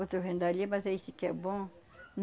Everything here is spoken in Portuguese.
Outro vem dali, mas é esse que é bom.